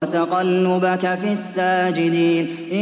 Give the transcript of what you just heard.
وَتَقَلُّبَكَ فِي السَّاجِدِينَ